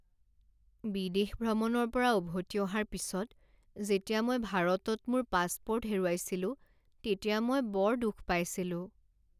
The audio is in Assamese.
বিদেশ ভ্ৰমণৰ পৰা উভতি অহাৰ পিছত যেতিয়া মই ভাৰতত মোৰ পাছপোৰ্ট হেৰুৱাইছিলো তেতিয়া মই বৰ দুখ পাইছিলোঁ।